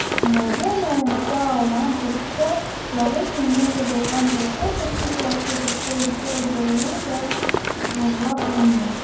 нұрайдың ойынша ауған көрші жалғыз емес жабылған екі кісі сияқты тіпті үшеу болуы да ғажап емес